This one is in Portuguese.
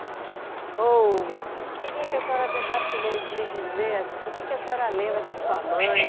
Ou. Eu queria que a senhora tentasse me dizer assim, o que a senhora lembra da sua mãe?